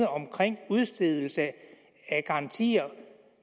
omkring udstedelsen af garantier